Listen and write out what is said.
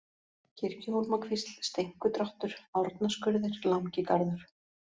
Kirjuhólmakvísl, Steinkudráttur, Árnaskurðir, Langigarður